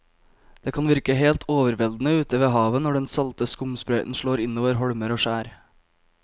Det kan virke helt overveldende ute ved havet når den salte skumsprøyten slår innover holmer og skjær.